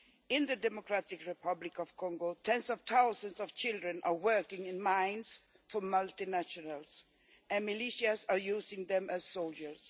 In the Democratic Republic of Congo, tens of thousands of children are working in mines for multinationals, and militias are using them as soldiers.